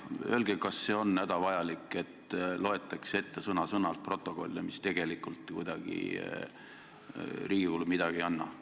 Öelge, kas see on hädavajalik, et sõna-sõnalt loetakse ette protokolle, mis tegelikult Riigikogule midagi ei anna?